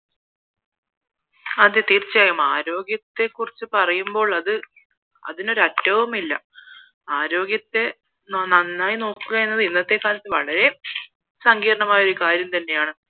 അതേ തീർച്ചയായും ആരോഗ്യത്തെ കുറിച്ച് പറയുമ്പോൾ അത് അതിനൊരറ്റവും ഇല്ല ആരോഗ്യത്തെ നന്നായി നോക്കുക എന്നത് ഇന്നത്തെ കാലത്ത് വളരെ സങ്കീർണമായ ഒരു കാര്യം തന്നെയാണ്